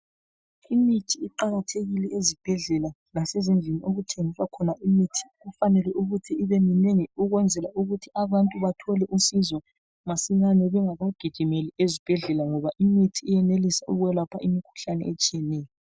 Imithi iqakathekile ezibhedlela lasezindlini okuthengiswa khona imithi. Kufanele ukuthi ibeminengi ukwenzela ukuthi abantu bathole usizo masinyane, bengakaginyimeli ezibhedlela ngoba imithi iyenelisa ukwelapha imithi etshiyeneyo.